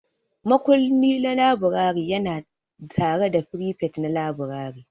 Makulli na laburare yana tare da firifet na laburare.